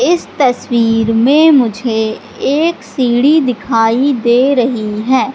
इस तस्वीर में मुझे एक सीढ़ी दिखाई दे रही है।